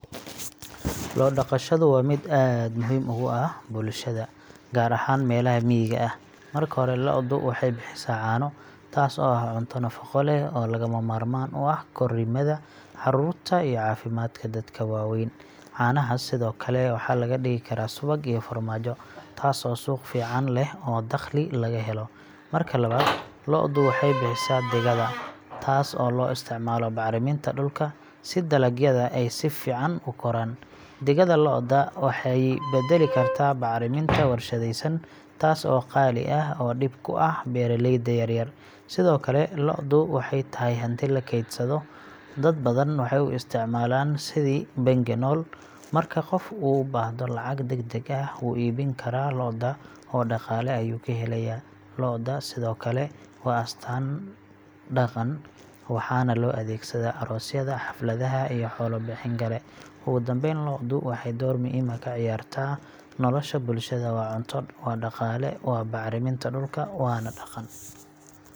Lo’ dhaqashadu waa mid aad muhiim ugu ah bulshada, gaar ahaan meelaha miyiga ah. Marka hore, lo’du waxay bixisaa caano, taas oo ah cunto nafaqo leh oo lagama maarmaan u ah korriimada caruurta iyo caafimaadka dadka waaweyn. Caanahaas sidoo kale waxaa laga dhigi karaa subag iyo farmaajo, taas oo suuq fiican leh oo dakhli laga helo. Marka labaad, lo’du waxay bixisaa digada, taas oo loo isticmaalo bacriminta dhulka si dalagyada ay si fiican u koraan. Digada lo’da waxay beddeli kartaa bacriminta warshadaysan, taas oo qaali ah oo dhib ku ah beeraleyda yaryar. Sidoo kale, lo’du waxay tahay hanti la keydsado. Dad badan waxay u isticmaalaan sidii bangi nool marka qof u baahdo lacag degdeg ah, wuu iibin karaa lo’da oo dhaqaale ayuu ka helayaa. Lo’da sidoo kale waa astaan dhaqan, waxaana loo adeegsadaa aroosyada, xafladaha, iyo xoolo bixin kale. Ugu dambayn, lo’du waxay door weyn ka ciyaartaa nolosha bulshada waa cunto, waa dhaqaale, waa bacriminta dhulka, waana dhaqan.